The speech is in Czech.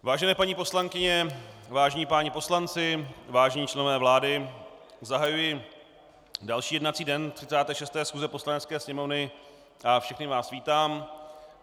Vážené paní poslankyně, vážení páni poslanci, vážení členové vlády, zahajuji další jednací den 36. schůze Poslanecké sněmovny a všechny vás vítám.